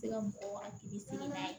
Se ka mɔgɔw hakili sigi la